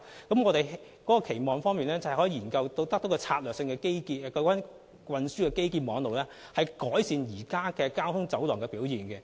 我們期望研究策略性基建，透過運輸基建網絡改善現時交通走廊的表現。